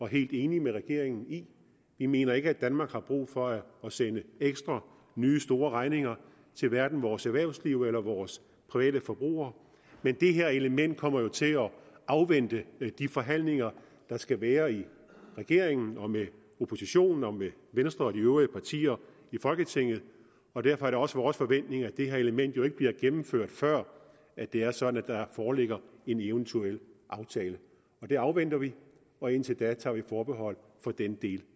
helt enige med regeringen i vi mener ikke at danmark har brug for at sende ekstra nye store regninger til hverken vores erhvervsliv eller vores private forbrugere men det her element kommer til at afvente de forhandlinger der skal være i regeringen og med oppositionen og med venstre og de øvrige partier i folketinget derfor er det også vores forventning at det her element jo ikke bliver gennemført før det er sådan at der foreligger en eventuel aftale det afventer vi og indtil da tager vi forbehold for den del